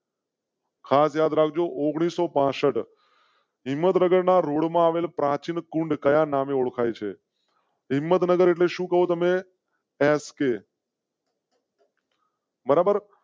ખાસ યાદ રાખ જો. ઓગણીસો પાસઠ. હિંમતનગરના રોડ માં આવેલ પ્રાચીન કુંડ કયા નામે ઓળખાય છે? હિંમતનગર એટલે શું? કહો તમે એસકે. બરાબર